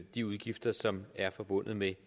de udgifter der er forbundet med